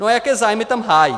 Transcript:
No, a jaké zájmy tam hájí.